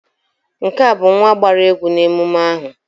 Nke a bụ nwa gbara egwu na emume ahụ